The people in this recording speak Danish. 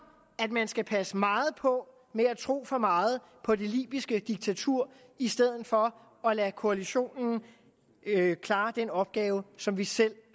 at man skal passe meget på med at tro for meget på det libyske diktatur i stedet for at lade koalitionen klare den opgave som vi selv